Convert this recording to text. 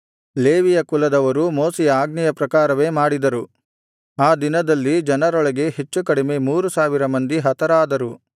ಲೇವಿಯ ಕುಲದವರು ಮೋಶೆಯ ಆಜ್ಞೆಯ ಪ್ರಕಾರವೇ ಮಾಡಿದರು ಆ ದಿನದಲ್ಲಿ ಜನರೊಳಗೆ ಹೆಚ್ಚು ಕಡಿಮೆ ಮೂರು ಸಾವಿರ ಮಂದಿ ಹತರಾದರು